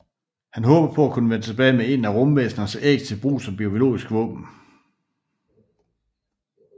Han håber på at kunne vende tilbage med et af rumvæsenernes æg til brug som biologisk våben